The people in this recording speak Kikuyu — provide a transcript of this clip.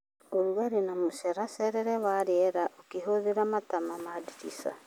ũrugarĩ na mũceracerere wa rĩera ũkĩhũthĩra matama ma ndirica.